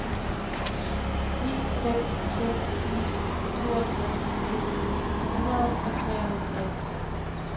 ni fem to ni toogtres to hundrede og treoghalvtreds